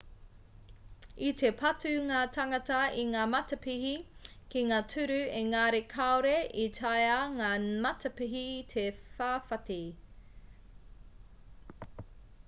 i te patu ngā tāngata i ngā matapihi ki ngā tūru engari kāore i taea ngā matapihi te whawhati